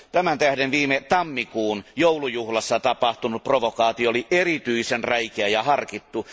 Tämän tähden viime tammikuun joulujuhlassa tapahtunut provokaatio oli erityisen räikeä ja harkittu.